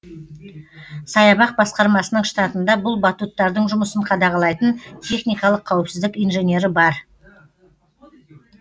саябақ басқармасының штатында бұл батуттардың жұмысын қадағалайтын техникалық қауіпсіздік инженері бар